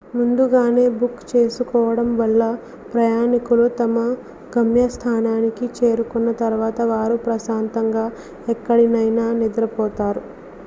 ముందుగానే బుక్ చేసుకోవడం వల్ల ప్రయాణికులు తమ గమ్యస్థానానికి చేరుకున్న తర్వాత వారు ప్రశాంతంగా ఎక్కడనైనా నిద్రపోతారు